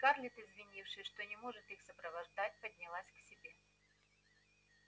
скарлетт извинившись что не может их сопровождать поднялась к себе